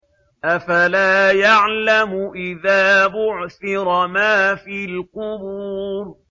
۞ أَفَلَا يَعْلَمُ إِذَا بُعْثِرَ مَا فِي الْقُبُورِ